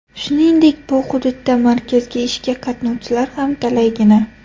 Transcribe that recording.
Shuningdek, bu hududda markazga ishga qatnovchilar ham talaygina.